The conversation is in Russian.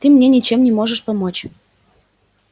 ты мне ничем не можешь помочь